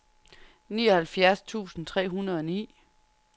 nioghalvfjerds tusind tre hundrede og ni